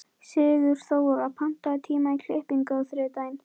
Sigurþóra, pantaðu tíma í klippingu á þriðjudaginn.